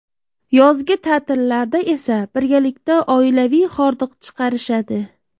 Yozgi ta’tillarda esa birgalikda oilaviy hordiq chiqarishadi.